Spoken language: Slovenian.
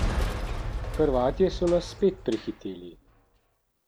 Hrvatje so nas spet prehiteli.